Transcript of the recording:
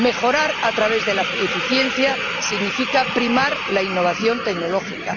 Mejorar a través de la eficiencia significa primar la innovación tecnológica